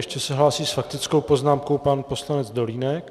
Ještě se hlásí s faktickou poznámkou pan poslanec Dolínek.